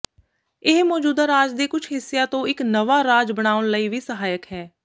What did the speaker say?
ਇਹ ਮੌਜੂਦਾ ਰਾਜ ਦੇ ਕੁਝ ਹਿੱਸਿਆਂ ਤੋਂ ਇਕ ਨਵਾਂ ਰਾਜ ਬਣਾਉਣ ਲਈ ਵੀ ਸਹਾਇਕ ਹੈ